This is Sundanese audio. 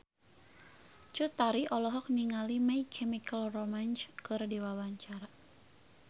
Cut Tari olohok ningali My Chemical Romance keur diwawancara